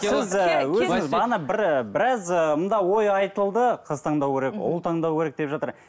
сіз і өзіңіз бағана бір і біраз і мында ой айтылды қыз таңдау керек ұл таңдау керек деп жатыр